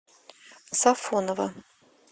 сафоново